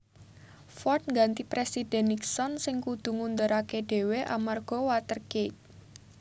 Ford ngganti Présidhèn Nixon sing kudu ngunduraké dhéwé amarga Watergate